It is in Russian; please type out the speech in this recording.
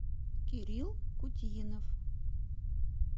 кирилл кутьинов